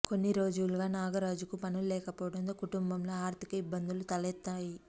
కొన్ని రోజులుగా నాగరాజుకు పనులు లేకపోవడంతో కుటుంబంలో ఆర్థిక ఇబ్బందులు తలెత్తాయి